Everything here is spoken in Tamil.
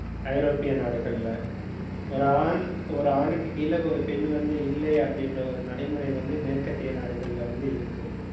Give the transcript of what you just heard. ஐரோப்பிய நாடுகள்ல ஒரு ஆண், ஒரு ஆணுக்கு கீழே ஒரு பெண் வந்து இல்லை அப்படின்ற ஒரு நடைமுறை வந்து, மேற்கத்திய நாடுகள்ல வந்து இருக்கு